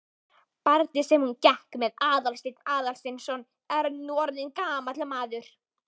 Barnið sem hún gekk með er Aðalsteinn Aðalsteinsson, nú orðinn gamall maður.